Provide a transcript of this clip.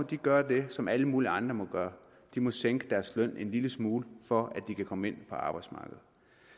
de gøre det som alle mulige andre må gøre de må sænke deres løn en lille smule for at de kan komme ind på arbejdsmarkedet